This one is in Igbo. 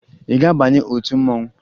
Ị ga-abanye otu mmanwụ?